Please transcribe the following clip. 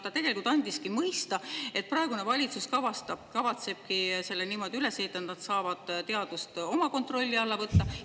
Ta tegelikult andis mõista, et praegune valitsus kavatsebki selle niimoodi üles ehitada, et nad saavad teaduse oma kontrolli alla võtta.